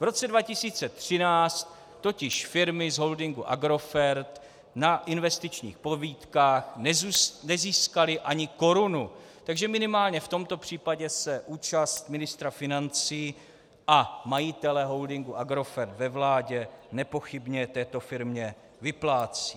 V roce 2013 totiž firmy z holdingu Agrofert na investičních pobídkách nezískaly ani korunu, takže minimálně v tomto případě se účast ministra financí a majitele holdingu Agrofert ve vládě nepochybně této firmě vyplácí.